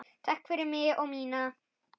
Takk fyrir mig og mína.